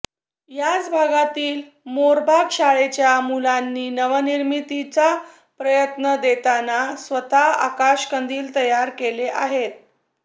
याच भागातील मोरबाग शाळेच्या मुलांनी नवनिर्मितीचा प्रत्यय देताना स्वतः आकाशकंदील तयार केले आहेत